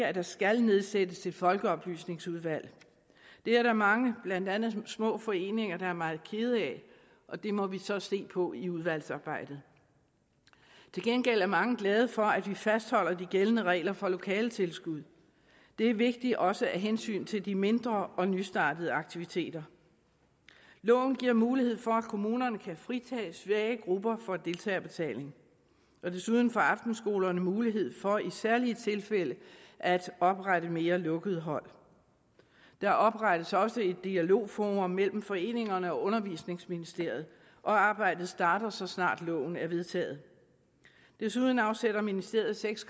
at der skal nedsættes et folkeoplysningsudvalg det er der mange blandt andet små foreninger der er meget kede af og det må vi så se på i udvalgsarbejdet til gengæld er mange glade for at vi fastholder de gældende regler for lokaletilskud det er vigtigt også af hensyn til de mindre og nystartede aktiviteter loven giver mulighed for at kommunerne kan fritage svage grupper for deltagerbetaling og desuden får aftenskolerne mulighed for i særlige tilfælde at oprette mere lukkede hold der oprettes også et dialogforum mellem foreningerne og undervisningsministeriet og arbejdet starter så snart loven er vedtaget desuden afsætter ministeriet seks